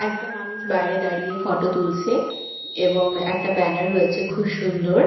একটা মানুষ বায়রে দাঁড়িয়ে ফটো তুলসে এবং একটা ব্যানার রয়েছে খুব সুন্দর।